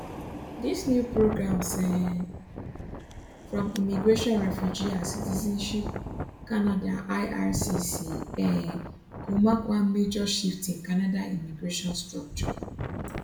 dis new programs um from immigration refugee and citizenship canada ircc um go mark one major shift in canada immigration structure